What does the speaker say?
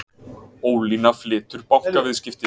Ólína flytur bankaviðskipti